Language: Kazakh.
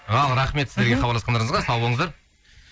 ал рахмет сіздерге хабарласқандарыңызға сау болыңыздар